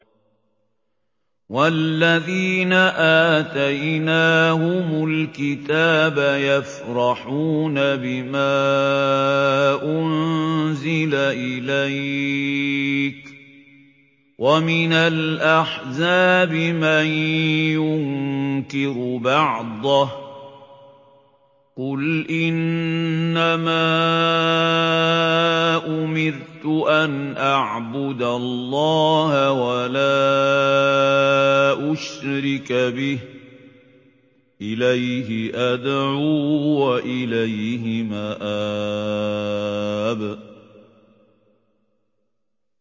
وَالَّذِينَ آتَيْنَاهُمُ الْكِتَابَ يَفْرَحُونَ بِمَا أُنزِلَ إِلَيْكَ ۖ وَمِنَ الْأَحْزَابِ مَن يُنكِرُ بَعْضَهُ ۚ قُلْ إِنَّمَا أُمِرْتُ أَنْ أَعْبُدَ اللَّهَ وَلَا أُشْرِكَ بِهِ ۚ إِلَيْهِ أَدْعُو وَإِلَيْهِ مَآبِ